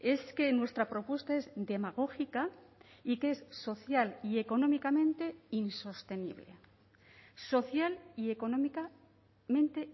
es que nuestra propuesta es demagógica y que es social y económicamente insostenible social y económicamente